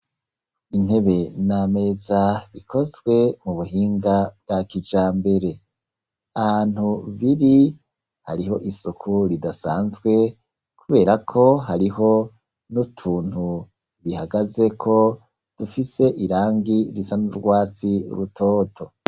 Intebe n'ameza bikozwe mubuhinga bwa kijambere, ahantu biri hariho isuku ridasanzwe kuberako hariho n'utuntu bihagazeko rifise irangi risa n'urwatsi rutoto.